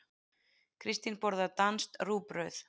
Kristín borðar danskt rúgbrauð.